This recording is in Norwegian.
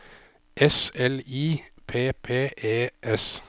S L I P P E S